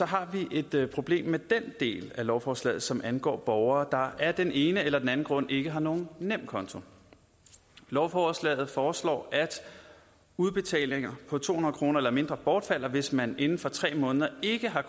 har vi et problem med den del af lovforslaget som angår borgere der af den ene eller anden grund ikke har nogen nemkonto i lovforslaget foreslås at udbetalinger på to hundrede kroner eller mindre bortfalder hvis man inden for tre måneder ikke har